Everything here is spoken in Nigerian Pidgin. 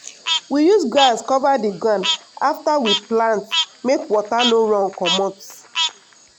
we use grass cover di ground afta we plant make water no run comot.